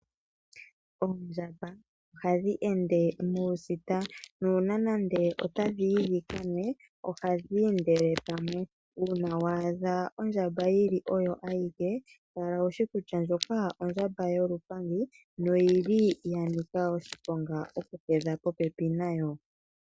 Oondjamba ohadhi ende ohadhi ende nuusita nongele otadhiyi dhikanwe ohadhi ende pamwe. Uuna wa adha ondjamba yili oyo awike kala wushi kutya ndjoka ondjamba yolupangi noyili yanika oshiponga okuhedha popepi nayo.